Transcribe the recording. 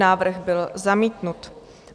Návrh byl zamítnut.